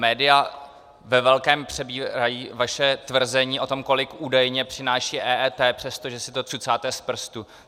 Média ve velkém přebírají vaše tvrzení o tom, kolik údajně přináší EET, přestože si to cucáte z prstu.